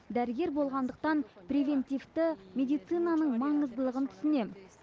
дәрігер болғандықтан привентивті медицинаның маңыздылығын түсінем